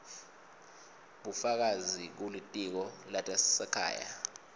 bufakazi kulitiko letasekhaya